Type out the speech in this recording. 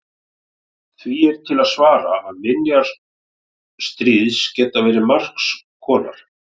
Því er til að svara að minjar stríðs geta verið margs konar.